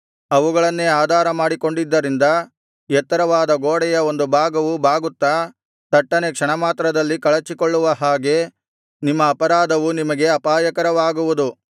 ಅವುಗಳನ್ನೇ ಆಧಾರ ಮಾಡಿಕೊಂಡಿದ್ದರಿಂದ ಎತ್ತರವಾದ ಗೋಡೆಯ ಒಂದು ಭಾಗವು ಬಾಗುತ್ತಾ ತಟ್ಟನೆ ಕ್ಷಣಮಾತ್ರದಲ್ಲಿ ಕಳಚಿಕೊಳ್ಳುವ ಹಾಗೆ ನಿಮ್ಮ ಅಪರಾಧವೂ ನಿಮಗೆ ಅಪಾಯಕರವಾಗುವುದು